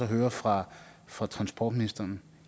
høre fra fra transportministeren